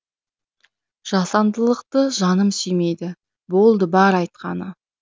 жасандылықты жаным сүймейді болды бар айтқаны